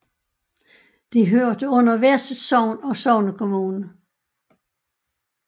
De hørte under hvert sit sogn og sognekommune